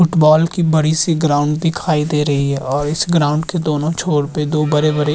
football की बड़ी-सी ground दिखाई दे रही है और इस ग्राउंड के दोनो छोर पे दो बड़े-बड़े --